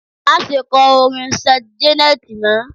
Má ṣe kọ orin Saint Janet mọ!